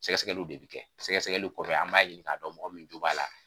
Sɛkɛsɛkɛliw de bi kɛ, sɛkɛsɛkɛli kɔfɛ an b'a ɲini ka dɔn mɔgɔ min jo b'a la.